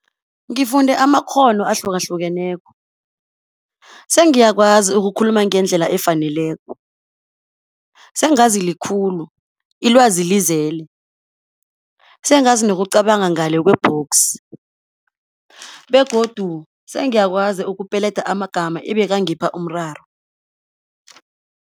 Ngifunde amakghono ahlukahlukeneko. Sengiyakwazi ukukhuluma ngendlela efaneleko, sengazi likhulu, ilwazi lizele. Sengazi nokucabanga ngale kwebhoksi, begodu sengiyakwazi ukupeleda amagama ebekangipha umraro.